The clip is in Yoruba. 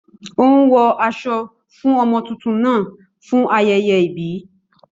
Ó ń wọ aṣọ fún ọmọ tuntun náà fún ayẹyẹ ìbí